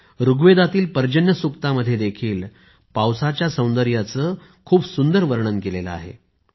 ऋग्वेदातील पर्जन्यसूक्त मध्ये देखील पावसाच्या सौंदर्याचे खूप सुंदर वर्णन केलं आहे